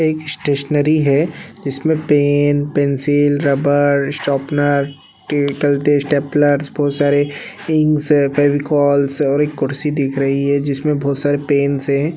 एक स्टेशनरी है जिमे पेन पेंसिल रबर शार्पनर बहुत सरे इंक्स फेविकोल और एक कुर्सी दिख रही हैं जिमे बहुत सरे पेनस हैं ।